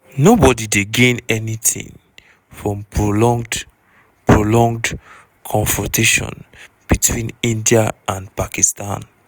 nobody dey gain anytin from prolonged prolonged confrontation between india and pakistan.